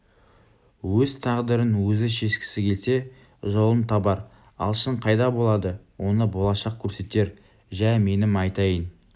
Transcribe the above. өз тағдырын өзі шешкісі келсе жолын табар алшын қайда болады оны болашақ көрсетер жә менің айтайын